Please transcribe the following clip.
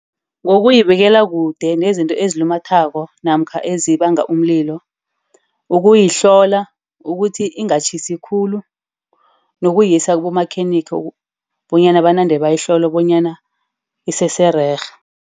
Ngokuyibikela kude nezinto ezilimazako, namkha ezibanga umlilo. Ukuyihlola ukuthi lingatjhisi khulu nokuyisa kibomakhenikha bonyana banande bayihlola bonyana isesererhe.